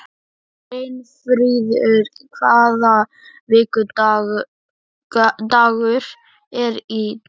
Brynfríður, hvaða vikudagur er í dag?